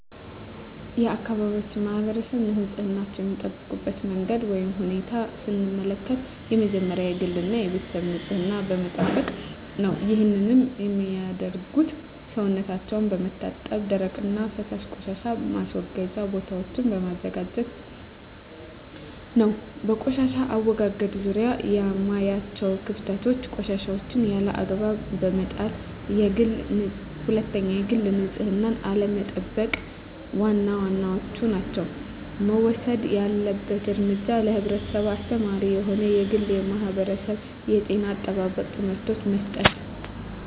የአካባቢያችን ማህበረሰብ ንፅህናቸዉን የሚጠብቁበት መንገድ ወይም ሁኔታን ስንመለከት የመጀመሪያዉ የግል እና የቤተሰባቸዉን ንፅህና በመጠበቅ ነዉ ይህንንም የሚያደርጉት ሰዉነታቸዉን በመታጠብ የደረቅና የፈሳሽ ቆሻሻ ማስወገጃ ቦታወችን በማመቻቸት ነዉ። በቆሻሻ አወጋገድ ዙሪያ የማያቸዉ ክፍተቶች፦ 1. ቆሻሻወችን ያለ አግባብ በመጣልና 2. የግል ንፅህናን አለመጠቅ ዋና ዋናወቹ ናቸዉ። መወሰድ ያለበት እርምጃ ለህብረተሰቡ አስተማሪ የሆኑ የግልና የማህበረሰብ የጤና አጠባበቅ ትምህርቶችን መስጠት።